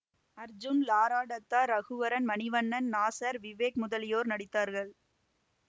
அர்ஜுன் லாரா டத்தா ரகுவரன் மணிவண்ணன் நாசர் விவேக் முதலியோர் நடித்தார்கள்